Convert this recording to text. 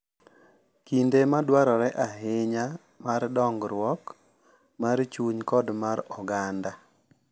Kinde ma dwarore ahinya mar dongruok mar chuny kod mar oganda.